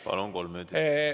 Palun!